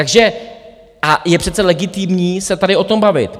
Takže je přece legitimní se tady o tom bavit.